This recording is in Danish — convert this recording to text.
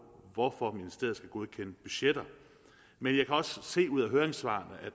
hvorfor ministeriet skal godkende budgetter men jeg kan også se ud af høringssvarene